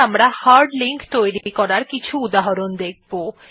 এখন আমরা hard link তৈরী করার কিছু উদাহরণ দেখব